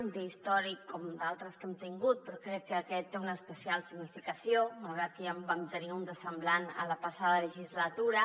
un dia històric com d’altres que hem tingut però crec que aquest té una especial significació malgrat que ja en vam tenir un de semblant la passada legislatura